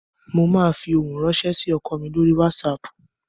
Mo máa fi ohun ránṣẹ́ sí ọkọ mi lọ́rí Wásaapù